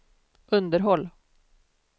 underhåll